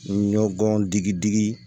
Ɲɔ gɔn digi digi